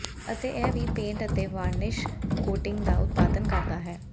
ਅਤੇ ਇਹ ਵੀ ਪੇਂਟ ਅਤੇ ਵਾਰਨਿਸ਼ ਕੋਇਟਿੰਗ ਦਾ ਉਤਪਾਦਨ ਕਰਦਾ ਹੈ